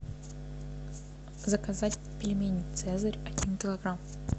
заказать пельмени цезарь один килограмм